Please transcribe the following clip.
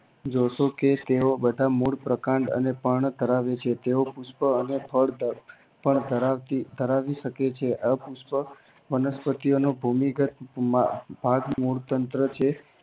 જોશો કે બધા મૂળ પ્રકાંડ અને પર્ણ ધરાવે છે તેઓ પુષ્પ અને ફળ પણ ધરાવતી ધરાવી શકે છે આ પુષ્પ વનસ્પતિ ઓનો ભૂમિ ગત ભાગ મૂળ તંત્ર છે